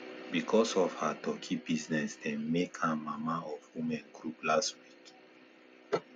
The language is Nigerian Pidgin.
because of her turkey business dem make am mama of women group last year